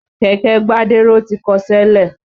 Kẹ̀kẹ́ Gbádéró ti kọṣẹ́ lẹ̀.